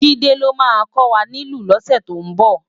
Jide ló má kòwá nilú lósè tó nbò